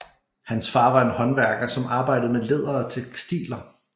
Hans far var en håndværker som arbejdede med læder og tekstiler